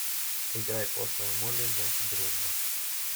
играй пошлая молли значит дружба